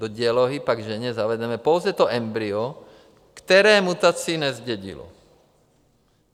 Do dělohy pak ženě zavedeme pouze to embryo, které mutaci nezdědilo.